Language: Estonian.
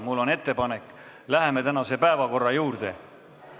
Mul on ettepanek, et läheme tänase päevakorra juurde.